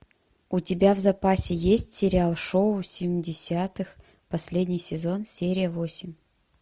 у тебя в запасе есть сериал шоу семидесятых последний сезон серия восемь